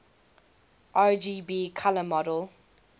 rgb color model